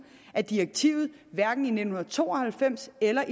at direktivet hverken i nitten to og halvfems eller